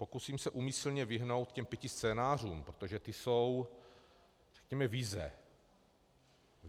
Pokusím se úmyslně vyhnout těm pěti scénářům, protože to jsou, řekněme, vize.